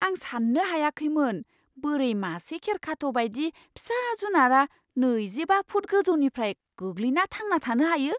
आं सान्नो हायाखैमोन बोरै मासे खेरखाथ' बायदि फिसा जुनारआ नैजिबा फुट गोजौनिफ्राय गोग्लैना थांना थानो हायो!